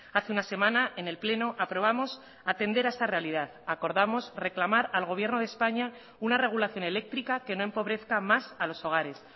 hace una semana en el pleno aprobamos atender a esta realidad acordamos reclamar al gobierno de españa una regulación eléctrica que no empobrezca más a los hogares